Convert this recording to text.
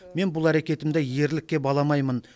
мен бұл әрекетімді ерлікке баламаймын